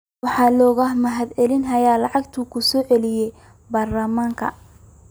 Waxaa looga mahadceliyey lacagta uu ku soo celiyay baarlamaanka.